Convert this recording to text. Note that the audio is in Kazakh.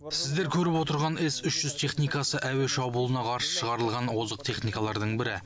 сіздер көріп отырған с үш жүз техникасы әуе шабуылына қарсы шығарылған озық техникалардың бірі